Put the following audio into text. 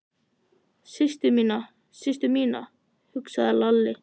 Systur mína, systur mína, hugsaði Lalli.